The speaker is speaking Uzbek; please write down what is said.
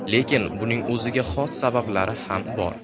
Lekin buning o‘ziga xos sabablari ham bor.